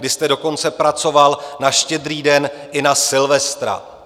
Vy jste dokonce pracoval na Štědrý den i na Silvestra.